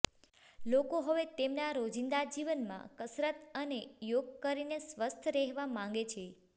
લોકો હવે તેમના રોજિંદા જીવનમાં કસરત અને યોગ કરીને સ્વસ્થ રહેવા માગે છે